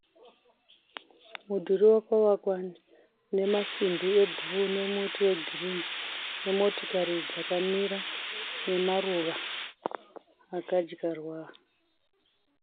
Mudhuri wakavakwa nemasimbi ebhuruu. Muti wegirinhi. Motokari dzakamira nemaruva akadyarwa .